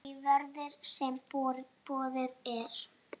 því verði, sem boðið er.